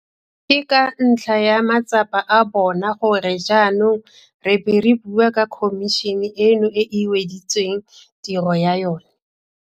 Ke ka ntlha ya matsapa a bona gore jaanong re bo re bua ka khomišene eno e e weditseng tiro ya yona.